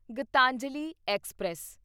Geetanjali express